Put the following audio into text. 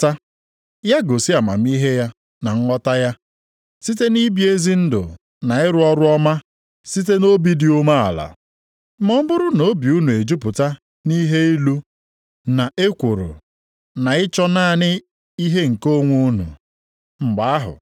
Ọ dị onye ọbụla nʼime unu na-agụ onwe ya dị ka onye maara ihe na onye nwere nghọta? Ya gosi amamihe ya na nghọta ya site nʼibi ezi ndụ na ịrụ ọrụ ọma site nʼobi dị umeala.